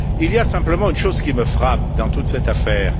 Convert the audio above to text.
Il y a simplement une chose qui me frappe dans toute cette affaire.